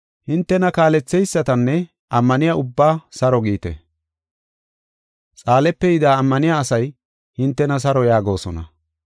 Hintena kaaletheysatanne ammaniya ubbaa saro giite. Xaalepe yida ammaniya asay hintena saro yaagosona.